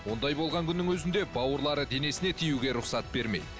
ондай болған күннің өзінде бауырлары денесіне тиюге рұқсат бермейді